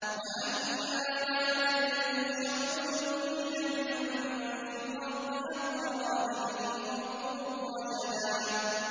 وَأَنَّا لَا نَدْرِي أَشَرٌّ أُرِيدَ بِمَن فِي الْأَرْضِ أَمْ أَرَادَ بِهِمْ رَبُّهُمْ رَشَدًا